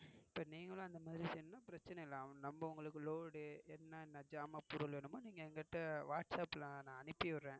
இப்ப நீங்களும் இந்த மாதிரி செய்யணும்னா பிரச்னையில்ல. நம்ம உங்களுக்கு load என்ன என்ன ஜமான் பொருள் வேணுமோ நீங்க என்கிட்ட whatsapp ல நான் அனுப்பிவிடுறேன்.